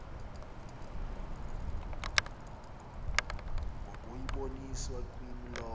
ngokuyiboniswa kwimi lowo